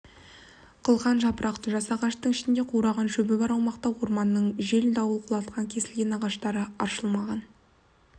қылқан жапырақты жас ағаштың ішінде қураған шөбі бар аумақта орманның жел дауыл құлатқан кесілген ағаштары аршылмаған